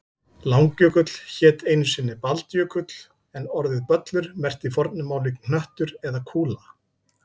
Langjökull hét einu sinni Baldjökull en orðið böllur merkti í fornu máli hnöttur eða kúla.